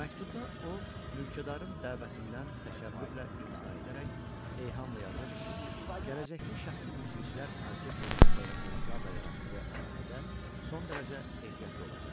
Məktubda o, mülkədarın dəvətindən təkəbbürlə imtina edərək eyhamla yazırdı ki, gələcəkdə şəxsi musiqiçilər orkestri saxlayan cənablarla yaratdığı əlaqədə son dərəcə ehtiyatlı olacaq.